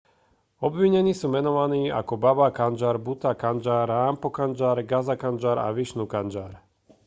obvinení sú menovaní ako baba kanjar bhutha kanjar rampro kanjar gaza kanjar a vishnu kanjar